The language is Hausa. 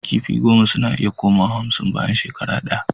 Kifi goma suna iya koma wa hamsin bayan shekara daya